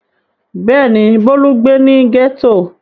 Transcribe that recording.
Bẹ́ẹ̀ ni, Bólú ń gbé ní gẹ́tò.